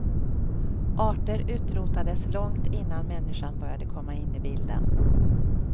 Arter utrotades långt innan människan började komma in i bilden.